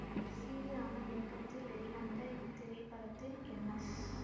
C V Raman இயக்கத்தில் வெளிவந்த இத்திரைப்படத்தில் எம் எஸ்